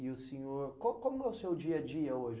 E o senhor, co como é o seu dia a dia hoje?